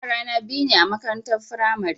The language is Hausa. Yara na biyu ne a makarantar firamare